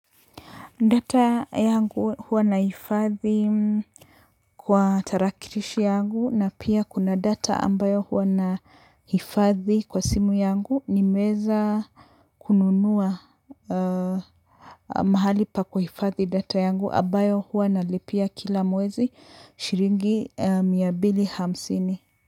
Data yangu huwa naihifadhi kwa tarakirishi yangu na pia kuna data ambayo huwa nahifadhi kwa simu yangu nimeweza kununua mahali pa kuhifadhi data yangu ambayo huwa nalipia kila mwezi shiringi mia mbili hamsini.